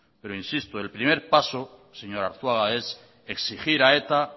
pero insisto el primer paso señor arzuaga es exigir a eta